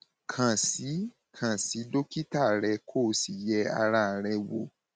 kàn sí kàn sí dókítà rẹ kó o sì yẹ ara rẹ wò